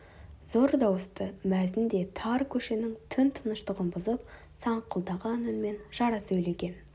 зор дауысты мәзін де тар көшенің түн тыныштығын бұзып саңқылдаған үнмен жара сөйлеген